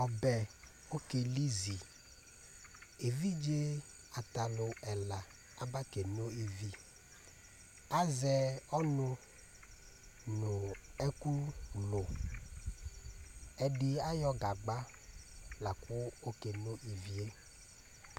ɔbɛ ke li zi evidze ata alò ɛla aba ke no ivi azɛ ɔnò no ɛkò lò ɛdi ayɔ gagba lakò oke no ivie